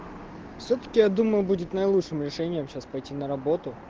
сутки я думаю будет наилучшим решением сейчас пойти на работу